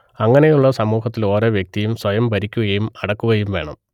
അങ്ങനെയുള്ള ഒരു സമുഹത്തിൽ ഒരോ വ്യക്തിയും സ്വയം ഭരിക്കുകയും അടക്കുകയും വേണം